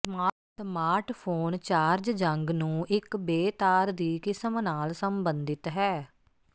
smartphone charging ਨੂੰ ਇੱਕ ਬੇਤਾਰ ਦੀ ਕਿਸਮ ਨਾਲ ਸੰਬੰਧਿਤ ਹੈ